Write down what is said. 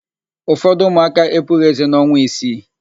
Ụfọdụ ụmụaka epughị ézé n'ọnwa isii.